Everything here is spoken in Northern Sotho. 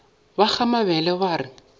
ba ga mabele ba re